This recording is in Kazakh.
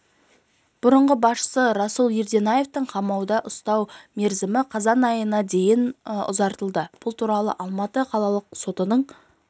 бұрынғы басшысы руслан ерденаевты қамауда ұстау мерзімі қазан айының дейін ұзартылды бұл туралы алматы қалалық сотының